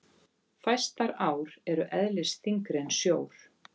Fæstar ár eru eðlisþyngri en sjór.